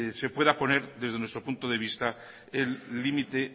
se pueda poner desde nuestro punto de vista el límite